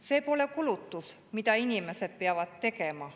"See pole kulutus, mida inimesed peavad tegema.